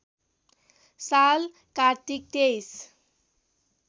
साल कार्तिक २३